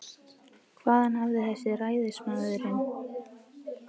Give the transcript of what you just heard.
Hvaðan hafði ræðismaðurinn þessi tíðindi?